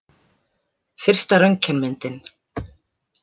Fyrsta röntgenmyndin.